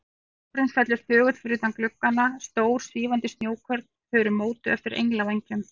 Snjórinn fellur þögull fyrir utan gluggana, stór, svífandi snjókorn, þau eru mótuð eftir englavængjum.